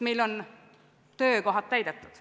Meil on töökohad täidetud.